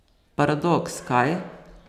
Paradoks, kaj?